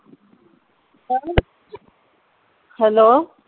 hello